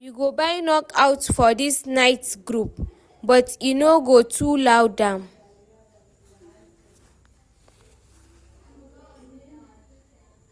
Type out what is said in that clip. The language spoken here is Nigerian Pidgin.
We go buy knockouts for the night groove, but e no go too loud am.